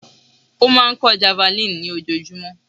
Ó máa kọ́ javelin ní ojoojúmọ́.